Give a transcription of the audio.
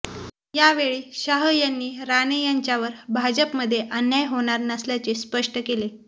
यावेळी शाह यांनी राणे यांच्यावर भाजपमध्ये अन्याय होणार नसल्याचे स्पष्ट केले